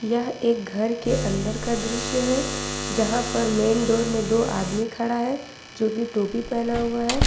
यह एक घर के अंदर का दृश्य है जहां पर मेन डोर में दो आदमी खड़ा है जो कि टोपी पहना हुआ है।